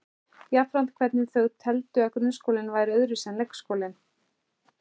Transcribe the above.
Jafnframt hvernig þau teldu að grunnskólinn væri öðruvísi en leikskólinn.